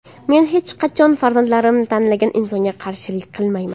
Men hech qachon farzandlarim tanlagan insonga qarshilik qilmayman.